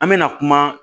An mɛna kuma